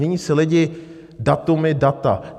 Nyní si lidi... datumy, data.